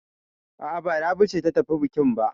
A'a, ba Rabi ce ta tafi bukin ba.